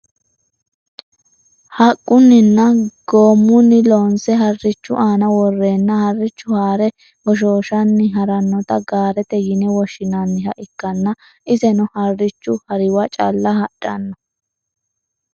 haqqunninna goommunni loonse harrichu aana worreenna harrichu haare goshooshanni harannota gaarete yine woshshinanniha ikkanna, iseno harrichu hariwa calla hadhanno .